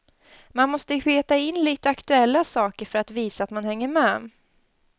Man måste peta in lite aktuella saker för att visa att man hänger med.